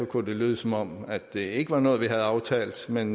kunne det lyde som om det ikke var noget vi havde aftalt men